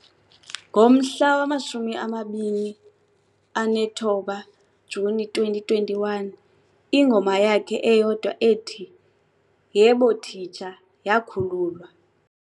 Ngomhla wa-29 Juni 2021, ingoma yakhe eyodwa ethi "Yebo Teacher" yakhululwa.